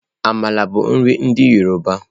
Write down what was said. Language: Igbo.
Àmàla bụ nri ndị yọrọba.